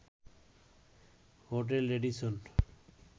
hotel Radisson